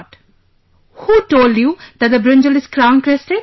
"Who told you that the brinjal is crown crested